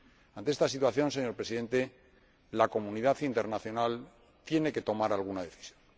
Ante esta situación, señor Presidente, la comunidad internacional tiene que tomar alguna decisión.